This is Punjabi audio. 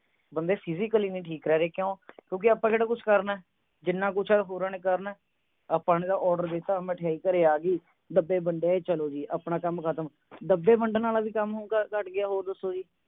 ਬੰਦੇ physically ਨਹੀਂ ਠੀਕ ਰਹਿ ਰਹੇ ਕਿਉਂ ਕਿਉਂ ਕਿਉਂਕੇ ਆਪਾਂ ਕਿਹੜਾ ਕੁਝ ਕਰਨਾ ਹੈ ਜਿਨਾ ਕੁਝ ਉਹ ਹੋਰਾਂ ਨੇ ਕਰਨਾ ਹੈ ਆਪਾਂ ਨੇ ਤਾਂ order ਦਿਤਾ ਮਠਿਆਈ ਘਰੇ ਆ ਗਈ ਡੱਬੇ ਵੰਡੇ ਚਲੋ ਜੀ ਆਪਣਾ ਕੰਮ ਖਤਮ ਡੱਬੇ ਵੰਡਣ ਵਾਲਾ ਵੀ ਕੰਮ ਘੱਟ ਗਿਆ ਦੱਸੋ ਜੀ